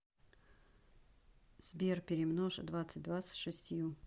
сбер перемножь двадцать два с шестью